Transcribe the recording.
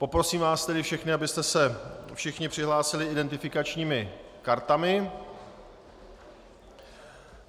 Poprosím vás tedy všechny, abyste se všichni přihlásili identifikačními kartami.